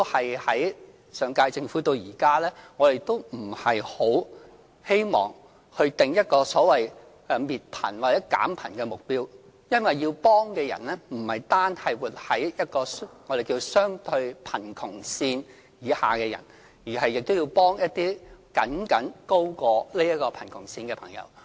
由上屆政府到現屆政府，我們都不希望訂立一個所謂滅貧或減貧的目標，因為要幫助的人不只是活在相對貧窮線以下的人，還要幫助一些僅僅高過貧窮線的市民。